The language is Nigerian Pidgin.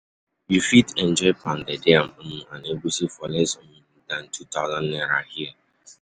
You fit enjoy pounded yam um and egusi for less um than um two thousand naira here.